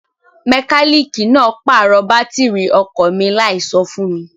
Mẹkálíìkì náà pàrọ̀ bátìrì ọkọ̀ mi láìso fún mi.